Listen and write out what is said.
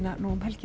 um helgina